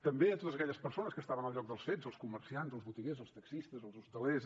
també a totes aquelles persones que estaven al lloc dels fets els comerciants els botiguers els taxistes els hostalers